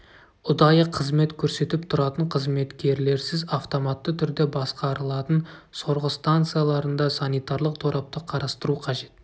ұдайы қызмет көрсетіп тұратын қызметкерлерсіз автоматты түрде басқарылатын сорғы станцияларында санитарлық торапты қарастыру қажет